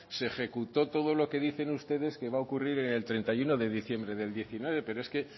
se ejecutó todo lo que dicen ustedes que va a ocurrir en el treinta y uno de diciembre del diecinueve pero es que